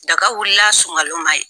Daga wuli la sɔngalo man ye.